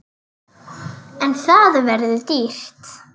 En það verður dýrt.